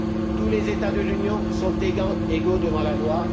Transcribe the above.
Tous les États de l'Union sont égaux devant la loi.